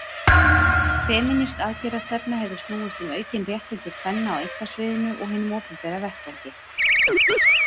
Femínísk aðgerðastefna hefur snúist um aukin réttindi kvenna á einkasviðinu og hinum opinbera vettvangi.